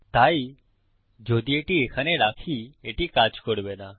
তাই যদি এটা এখানে রাখি এটি কাজ করবে না